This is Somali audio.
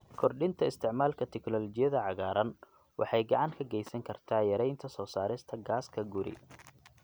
Kordhinta isticmaalka teknoolojiyada cagaaran waxay gacan ka geysan kartaa yareynta soo saarista gaaska guri.